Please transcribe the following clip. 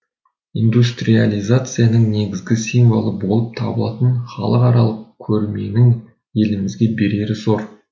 индустриалиязацияның негізгі символы болып табылатын халықаралық көрменің елімізге берері зор